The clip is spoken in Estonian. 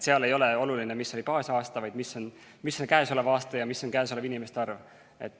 Seal ei ole oluline, mis oli baasaasta, vaid mis on käesolev aasta ja mis on inimeste arv.